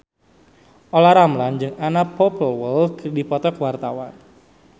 Olla Ramlan jeung Anna Popplewell keur dipoto ku wartawan